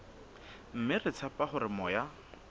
mme re tshepa hore moya